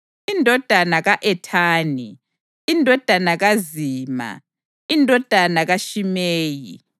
indodana ka-Ethani, indodana kaZima, indodana kaShimeyi,